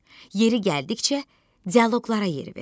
Yeri gəldikcə dialoqlara yer ver.